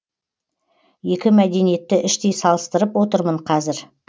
екі мәдениетті іштей салыстырып отырмын қазір